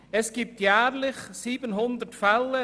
Es gibt jährlich 700 Fälle.